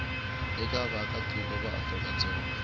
eka vaakatiko va afrika dzonga